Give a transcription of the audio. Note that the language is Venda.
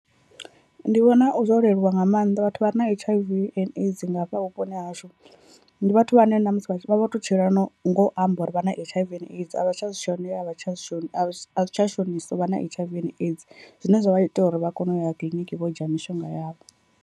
Ndi vhona zwo leluwa nga maanḓa, vhathu vha re na H_I_V and AIDS nga hafha vhuponi ha hashu ndi vhathu vhane na musi vha vho to tshila na no ngo amba uri vha na H_I_V and AIDS a vha tsha zwi shonela a vha tsha shoni a zwi tsha shonisa uvha na H_I_V and AIDS, zwine zwa vha ita uri vha kone u ya kiḽiniki vho dzhia mishonga yavho.